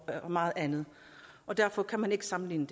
meget andet og derfor kan man ikke sammenligne